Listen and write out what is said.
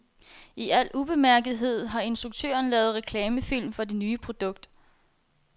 I al ubemærkethed har instruktøren lavet reklamefilm for det nye produkt.